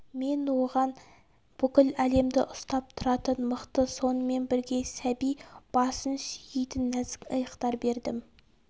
мен оған бүкіл әлемді ұстап тұратын мықты сонымен бірге сәби басын сүйейтін нәзік иықтар бердім